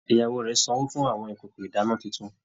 Ìyàwó rẹ sanwó fún àwọn ìkòkò ìdána títún